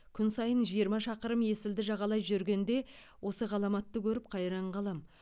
күн сайын жиырма шақырым есілді жағалай жүргенде осы ғаламатты көріп қайран қаламын